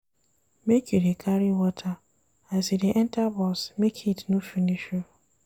Make you dey carry water as you dey enta bus make heat no finish you.